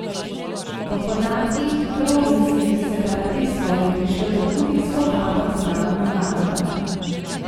Po podatkih proruskih separatistov je prišlo do hudih spopadov z narodno gardo.